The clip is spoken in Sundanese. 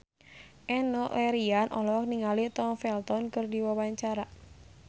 Enno Lerian olohok ningali Tom Felton keur diwawancara